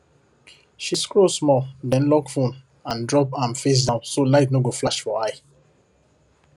she scroll small then lock phone and drop am face down so light no go flash for eye